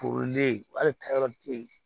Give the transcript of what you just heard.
Kolen hali ka yɔrɔ